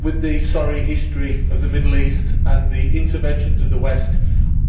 With the sorry history of the Middle East and the interventions of the West,